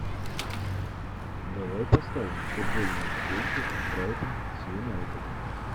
давай поставим футбольную встречу брайтон с юнайтед